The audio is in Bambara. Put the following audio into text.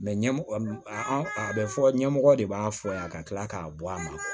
ɲɛmɔgɔ an a bɛ fɔ ɲɛmɔgɔ de b'a fɔ yan ka kila k'a bɔ a ma